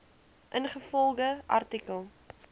ingevolge artikel